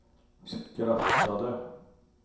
skrattade